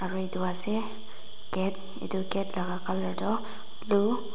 aru itu ase gate itu gate la colour tu blue .